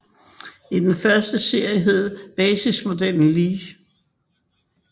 I den første serie hed basismodellen Li